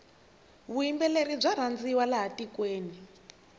vuyimbeleri bya rhandziwa laha tikweni